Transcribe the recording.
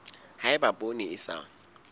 ha eba poone e sa